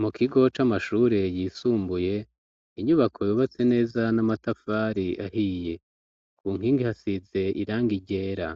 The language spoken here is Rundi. Mu kigo c'amashure yisumbuye inyubako yubatse neza n'amatafari ahiye ,ku nkingi hasize irangi ryera